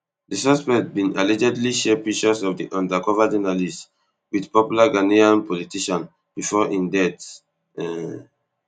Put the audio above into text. di suspect bin allegedly share pictures of di undercover journalist wit popular ghanaian politician bifor im death um